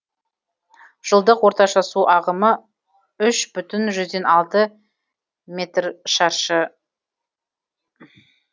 жылдық орташа су ағымы үш бүтін жүзден алты метр шаршы